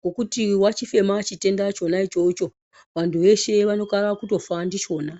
Ngokuti wachifema chitenda chona ichocho. Vantu veshe vanokona kutofa ndichona.